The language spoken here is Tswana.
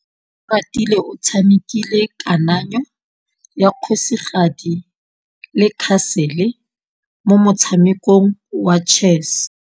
Oratile o tshamekile kananyô ya kgosigadi le khasêlê mo motshamekong wa chess.